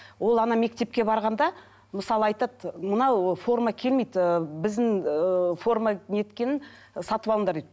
ол мектепке барғанда мысалы айтады мынау форма келмейді ыыы біздің ыыы форма неткенін сатып алыңдар дейді